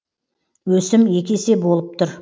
өсім екі есе болып тұр